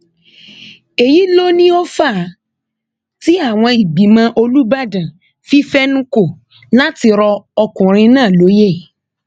èyí ló ní ó fà á tí àwọn ìgbìmọ olùbàdàn fi fẹnu kò láti rọ ọkùnrin náà lóye